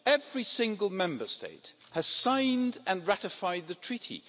Every single Member State has signed and ratified the Treaty.